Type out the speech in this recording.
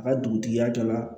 A ka dugutigiya jɔ la